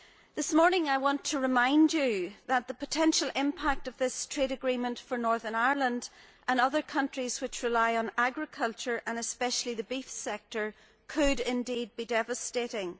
This morning I want to remind you that the potential impact of this trade agreement for Northern Ireland and other countries which rely on agriculture and especially the beef sector could indeed be devastating.